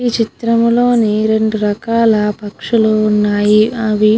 ఈ చిరం లోని రేడు రకాల పక్షులు ఉన్నాయి. అవి --